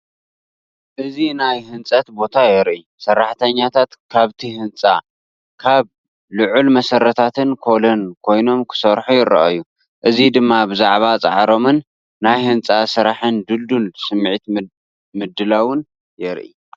እዚ ናይ ህንጸት ቦታ የርኢ። ሰራሕተኛታት ካብቲ ህንጻ ካብ ልዑል መሰረታትን ኮሎን ኮይኖም ክሰርሑ ይረኣዩ። እዚ ድማ ብዛዕባ ጻዕሮምን ናይ ህንጻ ስራሕን ድልዱል ስምዒት ምድላውን የርኢ።